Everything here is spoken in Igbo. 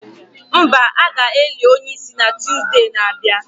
Mba, a ga-eli onye isi na Tuzdee na-abịa